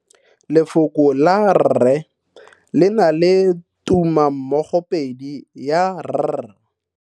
Lefoko la rre le na le tumammogopedi ya, r.